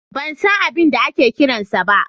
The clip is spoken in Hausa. Ban san abin da ake kiran sa ba.